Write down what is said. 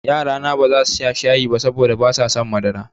Yarana baza su sha shayi ba saboda basu son madara.